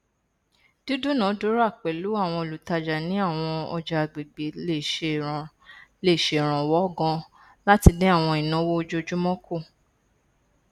dídúnaadúrà pẹlú àwọn olùtajà ní àwọn ọjà àgbègbè le ṣèrànwọ ganan láti dín àwọn ìnáwó ojoojúmọ kù